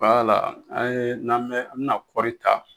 wala an ye n'an bɛ an bi na kɔri